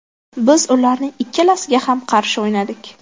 Biz ularning ikkalasiga ham qarshi o‘ynadik.